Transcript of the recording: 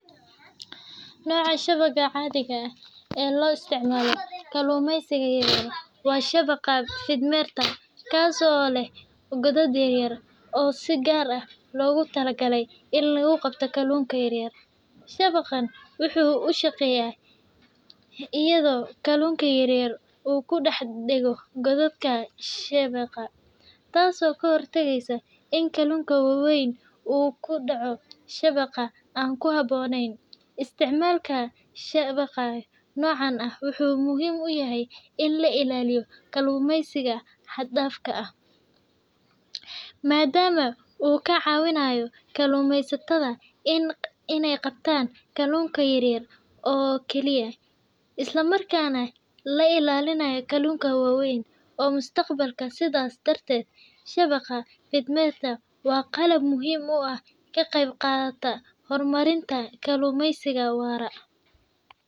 Nooca shabagga caadiga ah ee loo isticmaalo kalluumaysiga yar yar waa shabagga fiidmeerta , kaas oo leh godad yaryar oo si gaar ah loogu talagalay in lagu qabto kalluunka yar yar. Shabaggani wuxuu u shaqeeyaa iyadoo kalluunka yar uu ku dhex dhego godadka shabagga, taasoo ka hortagaysa in kalluunka waaweyn uu ku dhaco shabag aan ku habboonayn. Isticmaalka shabagga noocan ah wuxuu muhiim u yahay in la ilaaliyo kalluumaysiga xad dhaafka ah, maadaama uu ka caawinayo kalluumaysatada inay qabtaan kalluunka yaryar oo keliya, islamarkaana la ilaaliyo kalluunka waaweyn ee mustaqbalka. Sidaas darteed, shabagga fiidmeerta waa qalab muhiim ah oo ka qayb qaata horumarinta kalluumaysiga waara.